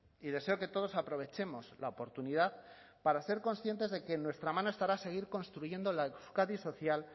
y deseo que todos aprovechemos la oportunidad para ser conscientes de que en nuestra mano estará seguir construyendo la euskadi social